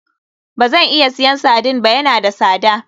Bazan iya siyan sardine ba, ya na da sada.